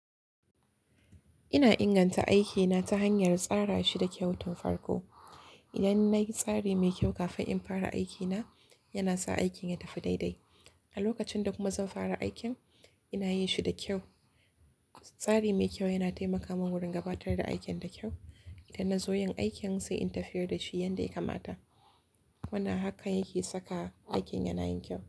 Ina inganta aikina ta hanyar tsara shi da kyautan farko. Idan na yi tsari mai kyau kafin in fara aikina, yana sa aikin ya tafi daidai. A lokacin da kuma zan fara aikin, ina yi shi da kyau. Tsari mai kyau yana taimaka mun wurin gabatar da aikin da kyau. Idan na zo yin aikin sai in tafiyar da shi yadda ya kamata. Wannan hakan yake saka aikin yana yin kyau.